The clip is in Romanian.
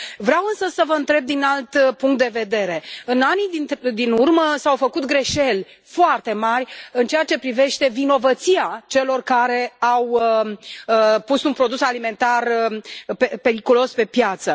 Vreau, însă, să vă întreb din alt punct de vedere în anii din urmă s au făcut greșeli foarte mari în ceea ce privește vinovăția celor care au pus un produs alimentar periculos pe piață.